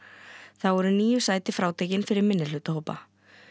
þá eru níu sæti frátekin fyrir minnihlutahópa